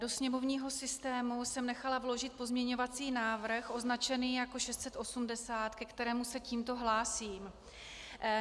Do sněmovního systému jsem nechala vložit pozměňovací návrh označený jako 680, ke kterému se tímto hlásím.